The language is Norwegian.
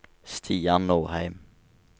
Stian Norheim